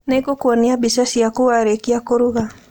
Nĩ ngũkuonia mbica ciaku warĩkia kũruga.